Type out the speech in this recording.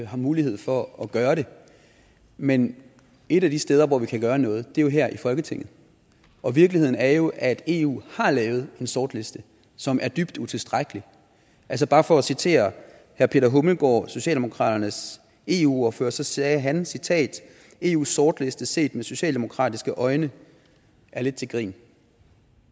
har mulighed for at gøre det men et af de steder hvor vi kan gøre noget er jo her i folketinget og virkeligheden er jo at eu har lavet en sortliste som er dybt utilstrækkelig altså bare for at citere herre peter hummelgaard thomsen socialdemokratiets eu ordfører så sagde han citat eus sortliste set med socialdemokratiske øjne er lidt til grin